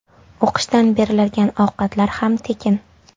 O‘qishdan beriladigan ovqatlar ham tekin.